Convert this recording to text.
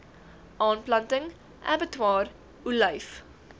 aanplanting abbatior olyf